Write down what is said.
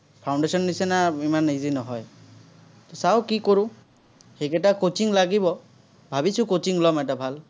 foundation নিচিনা ইমান easy নহয়। চাঁও কি কৰোঁ। সেইকেইটা coaching লাগিব। ভাৱিছো coaching ল'ম এটা ভাল।